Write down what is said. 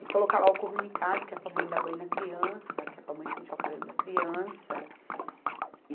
E colocar lá o comunicado, que é para a mãe dar banho na criança, que é para a mãe pentear o cabelo da criança.